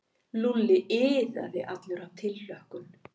Lúlli iðaði allur af tilhlökkun.